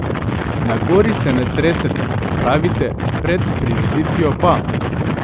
Na gori se ne tresete, pravite, pred prireditvijo pa.